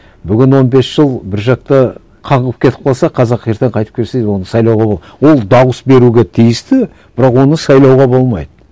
бүгін он бес жыл бір жақта каңғырып кетіп қалса қазақ ертең қайтып келсе оны сайлауға ол дауыс беруге тиісті бірақ оны сайлауға болмайды